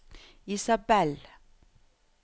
Isabelle